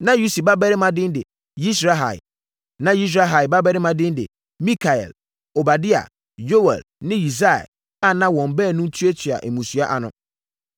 Na Usi babarima din de: Yisrahia. Na Yisrahia mmammarima din de: Mikael, Obadia, Yoɛl ne Yisia a na wɔn baanum tuatua mmusua ano.